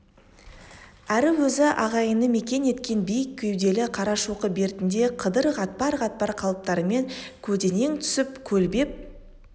әрі өз ағайыны мекен еткен биік кеуделі қарашоқы бертінде қыдыр қатпар-қатпар қалыптарымен көлденең түсіп көлбеп